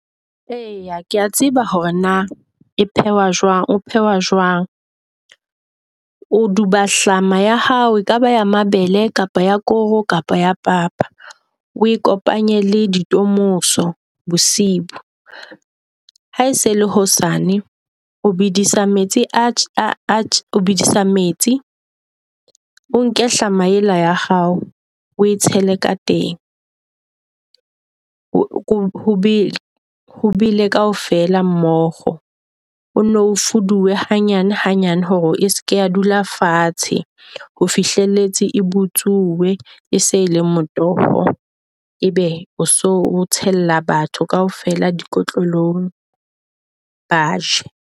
Eya kea tseba hore na e phehwa jwang oo phehwa jwang, o duba hlama ya hao, ekaba ya mabele kapa ya koro kapa ya papa. O e kopanye le di temoso bosiu. Ha e se la hosane o bedisa metsi atjhe o bedisa metsi o nka hlama yela ya hao, o e tshele ka teng. Ho ho bele, ho bele kaofela mmoho. O nno o fuduwe hanyane hanyane hore e se ke ya dula fatshe ho fihlelletse e butsuwe. E se e le motoho, ebe o so tshella batho kaofela di kotlolong ba je.